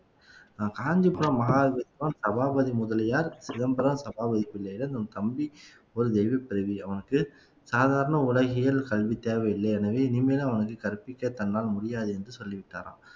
நம் காஞ்சிபுரம் மஹாவித்வான் சபாபதி முதலியார் சிதம்பரம் சபாபதி பிள்ளையிடம் உன் தம்பி ஒரு தெய்வப் பிறவி அவனுக்கு சாதாரண உலகியல் கல்வி தேவையில்ல எனவே இனிமேலும் அவனுக்கு கற்பிக்க தன்னால் முடியாது என்று சொல்லிவிட்டாராம்